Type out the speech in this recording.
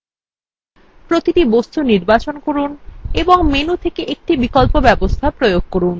প্রতিটি বস্তু নির্বাচন করুন এবং menu থেকে প্রতিটি বিকল্প ব্যবস্থা প্রয়োগ করুন